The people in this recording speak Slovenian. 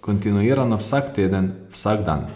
kontinuirano vsak teden, vsak dan.